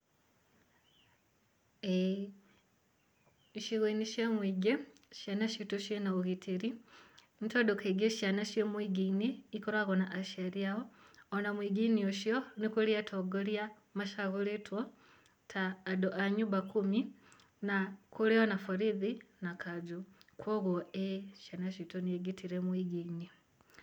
Ĩĩ, icigo-inĩ cia mũingĩ ciana citu cĩ na ũgitĩri, nĩ tondũ kaingĩ ciana ciĩ mũingĩ-inĩ ikoragwo na aciari ao. Ona mũingĩ-inĩ ũcio, nĩ kũrĩ atongoria macagũrĩtwo ta andu a nyumba kumi, na kũrĩ o na borithi na kanjũ. Koguo ĩĩ, ciana citũ nĩ ngitĩre mũingĩ-inĩ.